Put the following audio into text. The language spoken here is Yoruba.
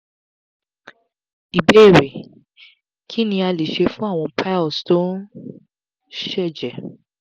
ìbéèrè: kí ni a lè ṣe fún àwọn piles tó ń sejẹ̀?